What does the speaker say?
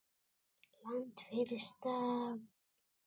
Land fyrir stafni!